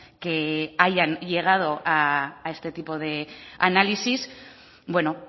que hayan llegado a este tipo de análisis bueno